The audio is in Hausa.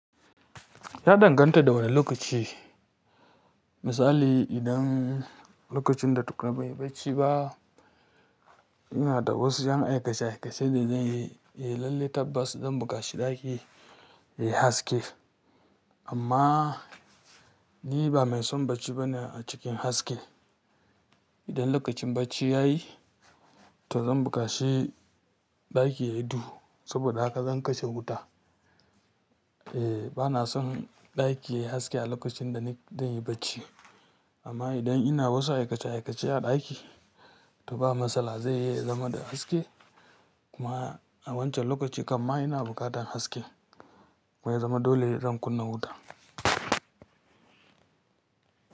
Ya danganta da wane lokaci. Misali idan lokacin da tukuna ban yi baci ba, ina da wasu 'yan aikace-aikace da zan yi, eh lallai tabbas zan bukaci ɗaki ya yi haske. Amma ni ba mai son bacci bane a cikin haske. Idan lokacin bacci ya yi, to zan bukaci ɗaki ya yi duhu saboda haka zan kashe wuta. Eh, bana son ɗaki ya yi haske a lokacin da ni zan yi bacci. Amma idan ina wasu aikace-aikace a ɗaki, to ba matsala zan iya zama da haske. Kuma a wancan lokacin kamma ina buƙatar haske. Kuma ya zama dole ne zan kunna wuta.